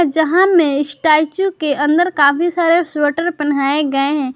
जहां में स्टैचू के अंदर काफी सारे स्वेटर पहनाए गए हैं।